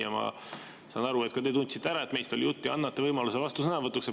Ja ma saan aru, et ka teie tundsite ära, et meist oli jutt, ja annate võimaluse vastusõnavõtuks.